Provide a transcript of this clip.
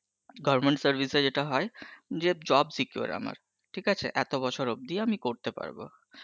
government service এ যেটা হয় যে job সেকার আমার ঠিক আছে এত বছর অব্দিই আমি করতে পারবো